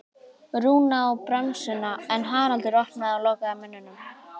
Rúna á bremsuna en Haraldur opnaði og lokaði munninum.